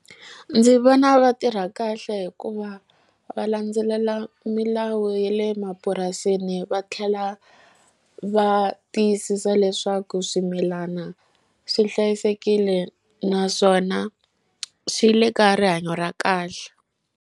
Ndzi vona va tirha kahle hikuva va landzelela milawu ye le mapurasini va tlhela va tiyisisa leswaku swimilana swi hlayisekile naswona swi le ka rihanyo ra kahle.